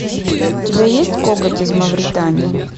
у тебя есть коготь из мавритании